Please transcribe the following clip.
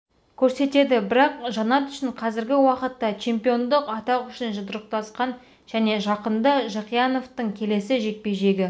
көрсетеді бірақ жанат үшін қазіргі уақытта чемпиондық атақ үшін жұдырықтасқан жөн жақында жақияновтың келесі жекпе-жегі